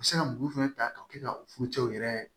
U bɛ se ka muru fɛnɛ ta ka kɛ ka fucɛw yɛrɛ